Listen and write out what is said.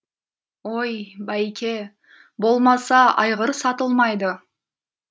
ой байке болмаса айғыр сатылмайды